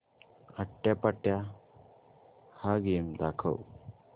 आट्यापाट्या हा गेम दाखव